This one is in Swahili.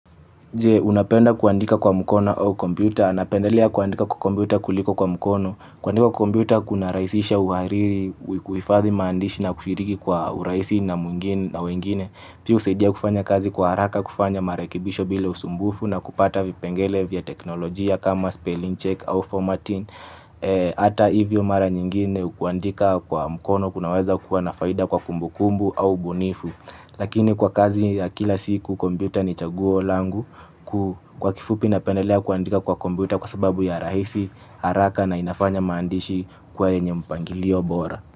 Je, unapenda kuandika kwa mkono au kompyuta. Anapendelea kuandika kwa kompyuta kuliko kwa mkono. Kuandika kwa kompyuta kuna rahisisha uhariri, kuhifadhi maandishi na kushiriki kwa urahisi na wengine. Piyo husaidia kufanya kazi kwa haraka, kufanya marekebisho bila usumbufu na kupata vipengele vya teknolojia kama spelling check au formatting. Hata hivyo mara nyingine kuandika kwa mkono kunaweza kuwa nafaida kwa kumbukumbu au bunifu. Lakini kwa kazi ya kila siku kombyuta ni chaguo langu kwa kifupi napendelea kuandika kwa kombyuta kwa sababu ya rahisi haraka na inafanya maandishi kwa yenye mpangilio bora.